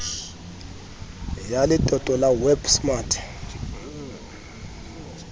ya letoto la web smart